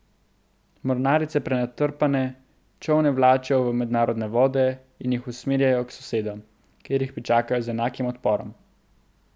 Mornarice prenatrpane čolne vlačijo v mednarodne vode in jih usmerjajo k sosedom, kjer jih pričakajo z enakim odporom.